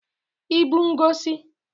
ibu ngosi